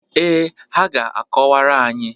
Ee, ha ga-akọwara anyị.